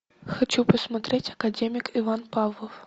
хочу посмотреть академик иван павлов